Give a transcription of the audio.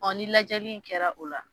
Ɔ ni lajɛli in kɛra o la